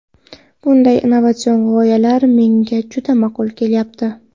Bunday innovatsion g‘oyalar menga juda ma’qul kelyapti.